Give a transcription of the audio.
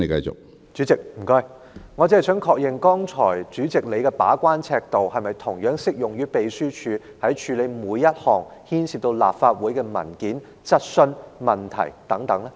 主席，我只想確認，主席剛才的把關尺度是否同樣適用於秘書處處理每一項牽涉到立法會的文件、質詢、問題等？